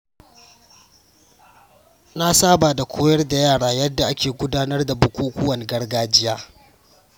Na saba da koyar da yara yadda ake gudanar da bukukuwan gargajiya.